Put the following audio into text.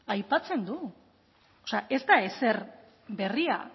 aipatzen du o sea ez da ezer berria